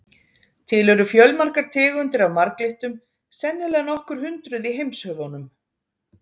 Til eru fjölmargar tegundir af marglyttum, sennilega nokkur hundruð í heimshöfunum.